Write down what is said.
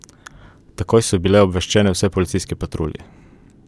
Takoj so bile obveščene vse policijske patrulje.